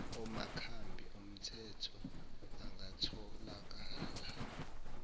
amakhambi omthetho angatholakala